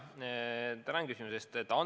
Tänan küsimuse eest!